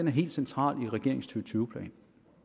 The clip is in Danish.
er helt centralt i regeringens to tusind